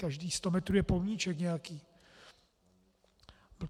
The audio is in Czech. Každých sto metrů je pomníček nějaký.